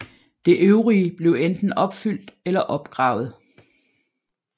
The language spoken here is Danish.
Det øvrige blev enten opfyldt eller opgravet